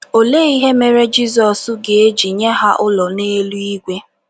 Olee ihe mere Jizọs ga - eji nye ha ụlọ n’eluigwe?